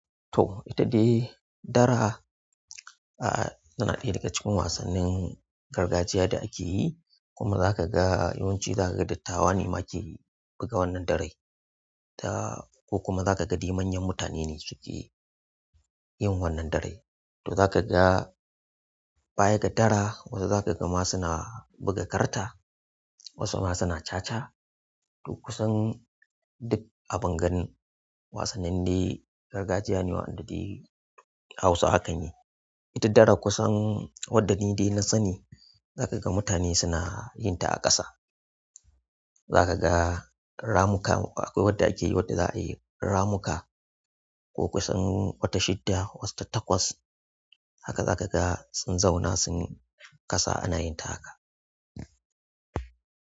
To ita dai dara, ah, tana ɗaya daga cikin wasannin gargajiya da ake yi kuma za ka ga yawanci za ka ga dattawa ne ma ke buga wannan darai. Da ko kuma za ka ga dai manyan mutane ne suke yin wannan darai. To za ka ga baya ga dara wasu za ka ga ma suna buga karta, wasu ma suna caca. To kusan duk abin gani wasannin dai gargajiya ne wanda dai a Hausawa kan yi. Ita dara kusan wadda ni dai na sani za ka ga mutane suna yin ta a ƙasa. Za ka ga ramuka akwai wadda ake yi wadda za a yi ramuka ko kusan wata shidda, wata takwas haka za ka ga sun zauna sun kasa ana yin ta haka.